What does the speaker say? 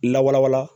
Lawala wala